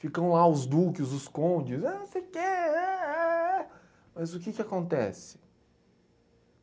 Ficam lá os duques, os condes, ah não sei o que ah ah ah ah, mas o que que acontece?